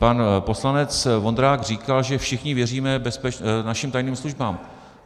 Pan poslanec Vondrák říkal, že všichni věříme našim tajným službám.